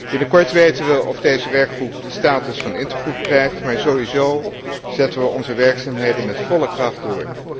Binnenkort weten we of deze werkgroep de status van intergroep krijgt, maar sowieso zetten we onze werkzaamheden met volle kracht door.